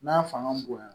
N'a fanga bonya